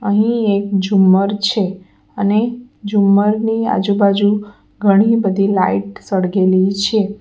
અહીં એક ઝુમ્મર છે અને ઝુમ્મર ની આજુબાજુ ઘણી બધી લાઈટ સળગેલી છે.